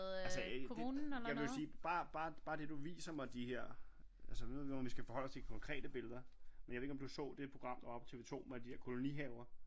Altså det jeg vil jo sige bare det du viser mig de her altså jeg ved ikke om vi skal forholde os til konkrete billeder men jeg ved ikke om du så det program der var på TV2 med de her kolonihaver